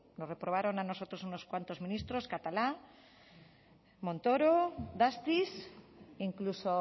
nos reprobaron a nosotros unos cuantos ministros catalá montoro dastis incluso